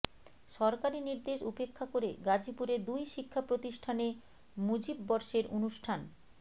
সরকারি নির্দেশ উপেক্ষা করে গাজীপুরে দুই শিক্ষাপ্রতিষ্ঠানে মুজিববর্ষের অনুষ্ঠান